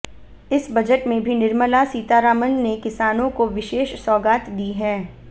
इस बजट में भी निर्मला सीतारमण ने किसानों को विशेष सौगात दी है